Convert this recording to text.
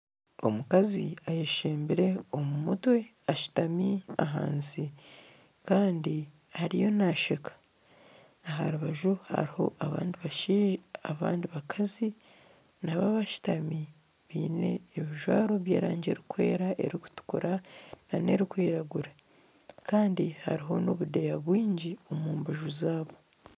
Omukazi ayeshembire omumutwe ashutami ahansi kandi ariyo nesheka. Aharubaju hariho abandi bakazi nabo abashutami biine ebijwaro by'erangi erikwera, erikutukura n'erikwiragura Kandi hariho n'obudeya bwingi omumbaju zaabo.